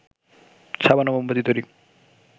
সাবান ও মোমবাতি তৈরি